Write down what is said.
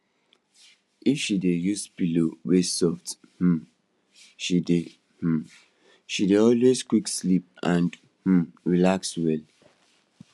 if she dey use pillow wey soft um she dey um she dey always quick sleep and um relax well